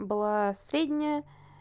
была средняя